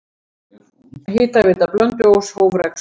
Hitaveita Blönduóss hóf rekstur.